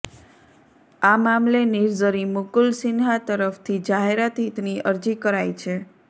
આ મામલે નિર્ઝરી મુકુલ સિંહા તરફથી જાહેરહિતની અરજી કરાઈ છે